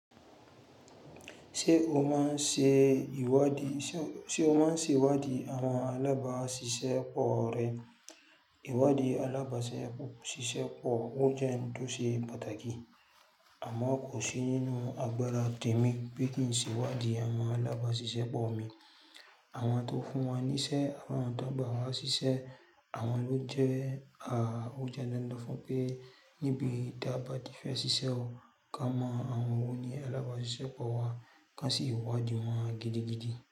Ṣé o máa ń ṣe ìwádìí? Ṣé o máa ń ṣe ìwádìí àwọn alábàá ṣiṣẹ́ pọ̀ rẹ? Ìwádìí alábàá ṣiṣẹ́ pọ̀ ó jẹ́ n tó ṣe pàtàkì. Àmọ́ kò sí nínu agbára tèmi pé kí n ṣe ìwádìí àwọn alábàá ṣiṣẹ́ pọ̀ mi. Àwọn tó fún wa níṣẹ́ àwọn tó gba wa ṣí ṣẹ́ àwọn ló jẹ́ à Ó jẹ́ dandan fún pé níbi tí a bá ti fẹ́ ṣiṣẹ́ o, ká mọ àwọn oní alábàá ṣiṣẹ́ pọ̀ wa. Kán sí wádìí wọn gidigidi.